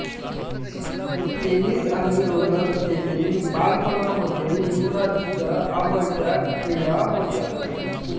tennis आणि roller skating बालपणामध्ये युवराजच्या आवडत्या क्रीडा होत्या